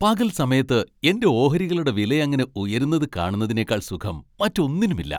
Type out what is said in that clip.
പകൽ സമയത്ത് എന്റെ ഓഹരികളുടെ വിലയങ്ങനെ ഉയരുന്നതു കാണുന്നതിനേക്കാൾ സുഖം, മറ്റൊന്നിനുമില്ല.